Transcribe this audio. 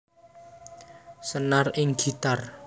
Senar ing gitar